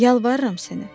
Yalvarıram sənə.